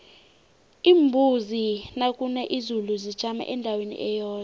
iimbuzi nakuna izulu zijama endaweni eyodwa